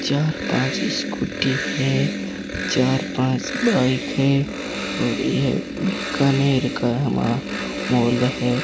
चार पांच स्कूटी है चार पांच बाइक है और यह बीकानेर का वहां मॉल है।